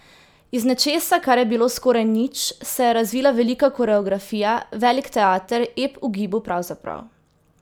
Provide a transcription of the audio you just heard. Iz nečesa, kar je bilo skoraj nič, se je razvila velika koreografija, velik teater, ep v gibu pravzaprav.